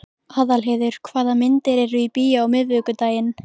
Aðalheiður, hvaða myndir eru í bíó á miðvikudaginn?